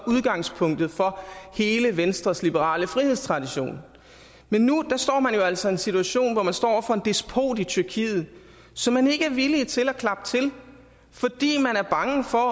udgangspunktet for hele venstres liberale frihedstradition men nu står man jo altså i en situation hvor man står over for en despot i tyrkiet som man ikke er villig til at klappe til fordi man er bange for